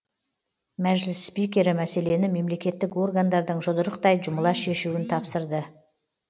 мәжіліс спикері мәселені мемлекеттік органдардың жұдырықтай жұмыла шешуін тапсырды